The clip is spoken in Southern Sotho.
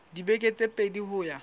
dibeke tse pedi ho ya